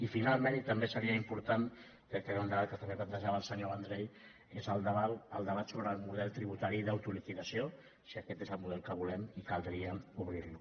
i finalment i també seria important crec que era un debat que també plantejava el senyor vendrell que és el debat sobre el model tributari d’autoliquidació si aquest és el model que volem i caldria obrir lo